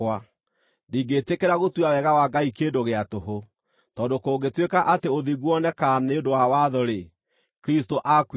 Ndingĩĩtĩkĩra gũtua wega wa Ngai kĩndũ gĩa tũhũ, tondũ kũngĩtuĩka atĩ ũthingu wonekaga nĩ ũndũ wa watho-rĩ, Kristũ aakuire tũhũ!”